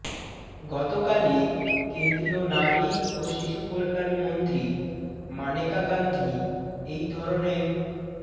গত কালই কেন্দ্রীয় নারী ও শিশু কল্যাণ মন্ত্রী মানেকা গান্ধী এই ধরণের